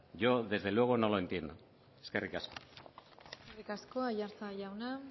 yo desde luego no lo entiendo eskerrik asko eskerrik asko aiartza jauna